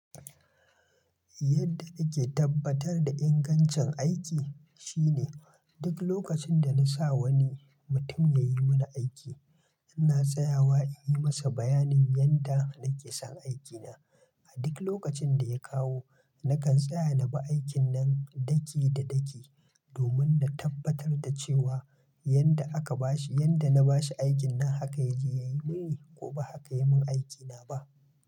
Yadda nake tabbatar da ingancin aiki shine duk lokacin da na sa wani mutum ya yi mana aiki, ina tsayawa in yi masa bayanin yanda nake son aikina. A duk lokacin da ya kawo, nakan tsaya na bi aikin nan daki da daki domin na tabbatar da cewa yanda aka ba shi, yanda na ba shi aikin nan haka ya je ya yi mini ko ba haka ya yi mun aikina ba.